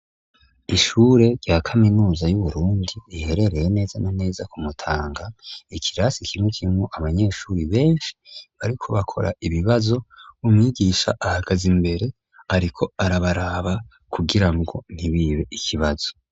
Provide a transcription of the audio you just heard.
ishure rya kaminuza y'uburundi riherereye neza na neza kumutanga , ikirasi kimwe kirimwo abanyeshuri benshi bariko bakora ibibazo , umwigisha ahagaz'imbere ariko arabaraba kugira ngo ntibibe ikibazo